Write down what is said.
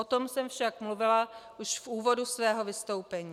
O tom jsem však mluvila už v úvodu svého vystoupení.